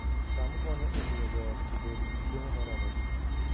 cham konyo e miyo joot obed gi chiemo moromogi